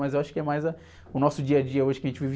Mas eu acho que é mais a... O nosso dia a dia hoje que a gente vive.